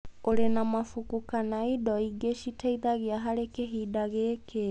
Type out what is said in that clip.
ũrĩ na mabuku kana indo ingĩ citeithagia harĩ kĩhinda gĩkĩ>